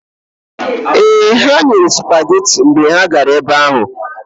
Ee, ha nyere sụpageti mgbe m gara ebe ahụ.